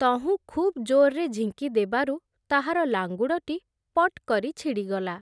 ତହୁଁ ଖୁବ୍ ଜୋର୍‌ରେ ଝିଙ୍କିଦେବାରୁ, ତାହାର ଲାଙ୍ଗୁଡ଼ଟି ପଟ୍ କରି ଛିଡ଼ିଗଲା ।